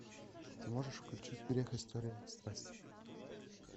ты можешь включить грех история страсти